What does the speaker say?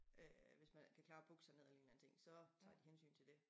Øh hvis man ikke kan klare at bukke sig ned eller en eller anden ting så tager de hensyn til det